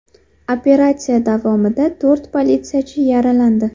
Operatsiya davomida to‘rt politsiyachi yaralandi.